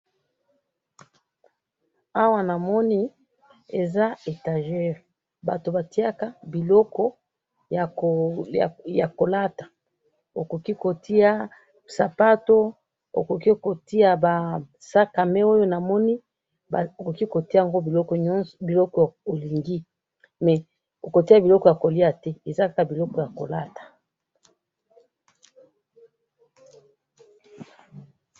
Awa namoni, eza etagere , bato batiyaka biloko yakolata, okoki kotiya sapato, okoki kotiya basakame oyo namoni, okoki kotiyaango biloko oyo olingi, mais okotiya biloko yakoliya te, eza kaka biloko yakolata